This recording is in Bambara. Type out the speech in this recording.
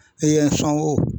E ye n sɔn o